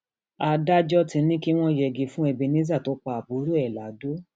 adájọ ti ní kí wọn yẹgi fún ebenezer tó pa àbúrò ẹ lado